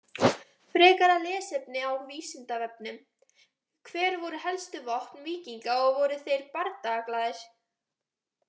Frekara lesefni á Vísindavefnum: Hver voru helstu vopn víkinga og voru þeir bardagaglaðir?